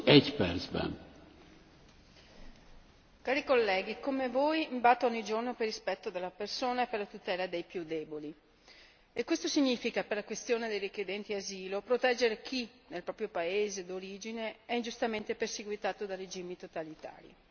Signor Presidente, onorevoli colleghi, come voi mi batto ogni giorno per il rispetto della persona e per la tutela dei più deboli, e questo significa, per la questione dei richiedenti asilo, proteggere chi nel proprio paese d'origine è ingiustamente perseguitato da regimi totalitari.